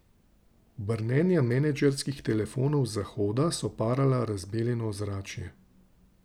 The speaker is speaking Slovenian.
Brnenja menedžerskih telefonov z Zahoda so parala razbeljeno ozračje.